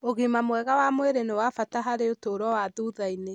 Ũgima mwega wa mwĩrĩ nĩ wa bata harĩ ũtũũro wa thutha-inĩ.